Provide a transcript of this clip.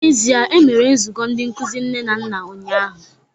N'ezie, e mere nzukọ ndị nkuzi nne na nna ụnyahụ